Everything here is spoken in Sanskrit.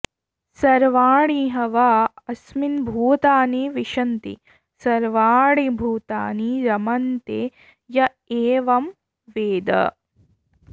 सर्वाणि ह वा अस्मिन् भूतानि विशन्ति सर्वाणि भूतानि रमन्ते य एवं वेद